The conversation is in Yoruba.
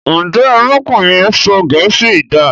Njé arákùnrin yén sọ gèésì dá?